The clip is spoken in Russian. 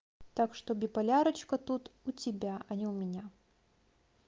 так что биполярочка тут у тебя а не у меня